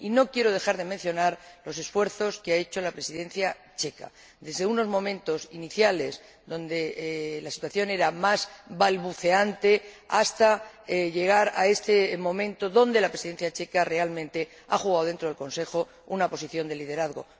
Y no quiero dejar de mencionar los esfuerzos que ha hecho la Presidencia checa, desde unos momentos iniciales donde la situación era más balbuceante, hasta llegar a este momento donde la Presidencia checa realmente ha jugado dentro del Consejo una posición de liderazgo.